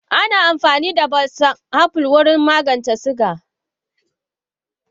Ana amfani da balsom apple wurin magance suga.